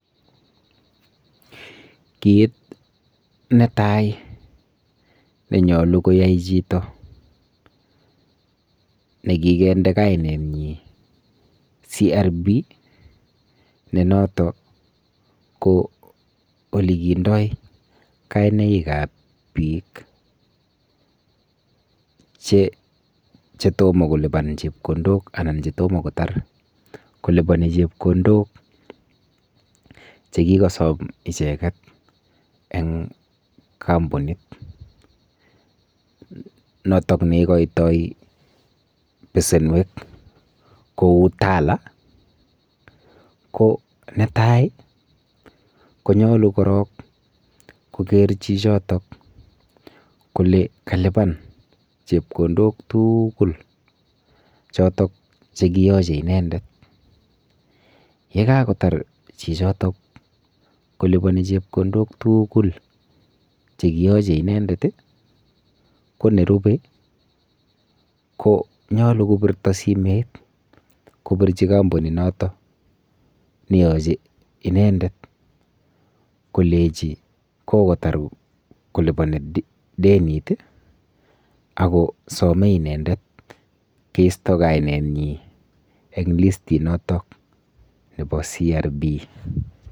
Kit netai nenyolu koyai chito nekikinde kainenyin CRB nenoton ko ole kindoi kainaikab bik che chetomo kiliban chepkondok anan ko chetomo kotar koliboni chepkondok chekikosom icheket en kampinit noton neikoito besenwek kou Tala ko netai konyolu korok koker chichotok kole kaluban chepkondok tugul chotok chekiyoche inendet, yekakotar chichoto chepkondok tugul chekiyoche inendet ii konerube konyolu kobirto simoit kobirji kampuninoto neyoche inendet kolenji kokotar koliboni denit ii akosome inendet kisto kainenyin en listinoto nebo CRB.